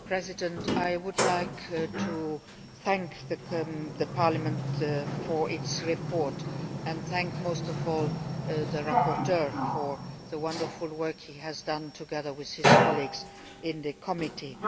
Mr President, I would like to thank Parliament for its report and thank most of all the rapporteur for the wonderful work he has done, together with his colleagues in the committee.